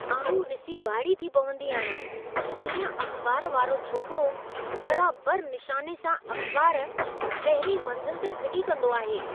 आउं ॾिसी वाइड़ी थी पवंदी आहियां त कीअं अख़बार वारो छोकिरो बराबरि निशाने सां अख़बार पहिरीं मंज़िल ते फिटी कंदो आहे।